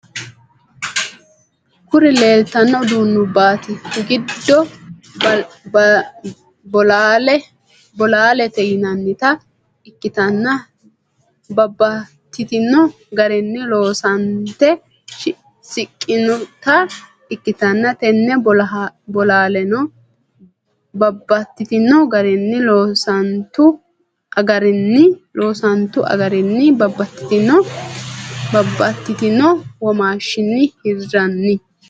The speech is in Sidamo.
Kuri lelittano udunubbate gido bollalete yinanitta ikitana babtitino garinni loosanitte siqqinota ikitana tene bollalano babtitino garinni loosanitu agarinni babatitino wommashshin hirranni.